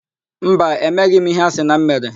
Mba, emeghị m íhé a sị na m mere.